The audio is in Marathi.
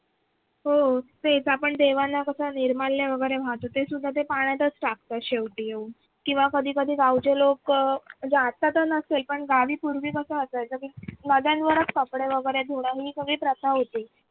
हो तेच आपण देवांना कस निर्माल्य वगैरे वाहतो ते सुद्धा ते पाण्यातच टाकता शेवटी येऊन किंवा कधी कधी गावचे लोक म्हणजे आत्ता तर नसेल पण गावी पूर्वी कस असायचं की नद्यांवरच कपडे वगैरे धून ही सगळी प्रथा होती.